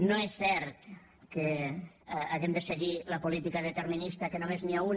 no és cert que hàgim de seguir la política determinista que només hi ha una